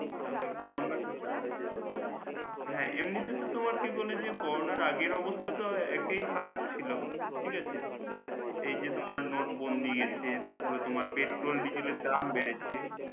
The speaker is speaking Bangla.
তাহলে হ্যাঁ এমনিতে তো তোমার করোনার আগের অবস্থা একেই খারাপ ছিল ঠিক আছে এই জন্য নোটবন্দি আছে তারপর তোমার পেট্রোল ডিজেল এর দাম বেড়েছে।